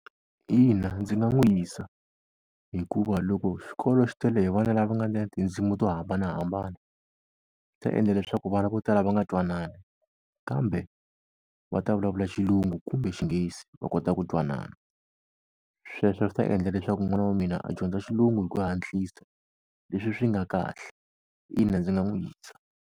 Ina ndzi nga n'wi yisa, hikuva loko xikolo xi tele hi vana lava nga ni tindzimi to hambanahambana, swi ta endla leswaku vana vo tala va nga twanani. Kambe va ta vulavula Xilungu kumbe Xinghezi va kota ku twanana. Sweswo swi ta endla leswaku n'wana wa mina a dyondza Xilungu hi ku hatlisa leswi swi nga kahle, ina ndzi nga n'wi yisa.